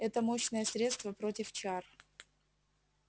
это мощное средство против чар